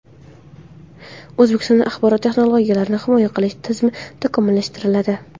O‘zbekistonda axborot texnologiyalarini himoya qilish tizimi takomillashtiriladi.